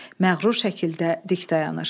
Məğrur şəkildə dik dayanır.